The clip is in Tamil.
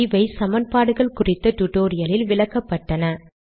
இவை சமன்பாடுகள் குறித்த டுடோரியலில் விளக்கப்பட்டன